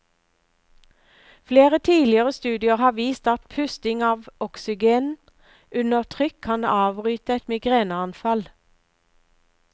Flere tidligere studier har vist at pusting av oksygen under trykk kan avbryte et migreneanfall.